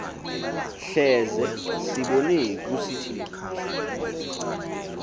hleze sibone kusithiwa